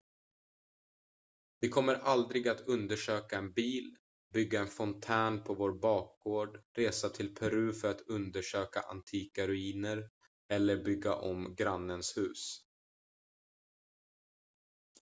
vi kommer aldrig att undersöka en bil bygga en fontän på vår bakgård resa till peru för att undersöka antika ruiner eller bygga om grannens hus